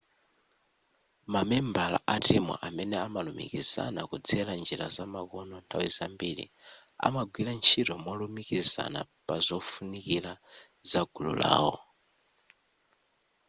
mamembala atimu amene amalumikizana kudzera njira zamakono nthawi zambiri amagwira ntchito molumikizana pazofunikira zagulu lawo